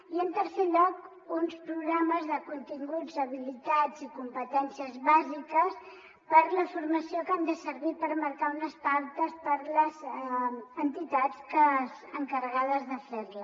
i en tercer lloc uns programes de continguts habilitats i competències bàsiques per a la formació que han de servir per marcar unes pautes per a les entitats encarregades de fer·la